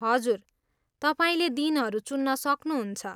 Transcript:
हजुर, तपाईँले दिनहरू चुन्न सक्नुहुन्छ।